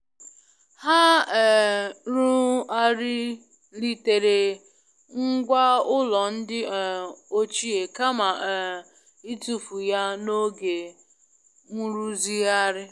Ha um ru'arilitere ngwá ụlọ ndi um ochie kama um ịtụfu ya n'oge nrụzigharị.